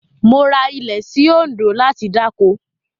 Mo ra ilẹ̀ sí Òǹdó láti dáko.